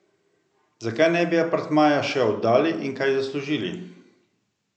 Zakaj ne bi apartmaja še oddali in kaj zaslužili?